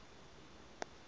test scores